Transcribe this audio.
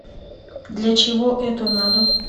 для чего это надо